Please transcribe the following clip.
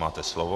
Máte slovo.